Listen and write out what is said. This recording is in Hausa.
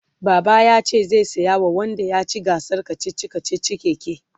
baba yace zai saya wa wanda yaci gasar kachichi kachichin keke